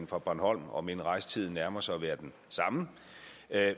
fra bornholm om end rejsetiden nærmer sig at være den samme